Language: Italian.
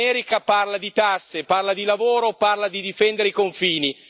L'America parla di tasse, parla di lavoro, parla di difendere i confini.